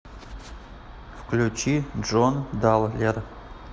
включи джон даллер